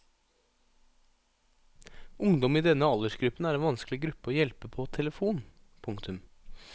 Ungdom i denne aldersgruppen er en vanskelig gruppe å hjelpe på telefon. punktum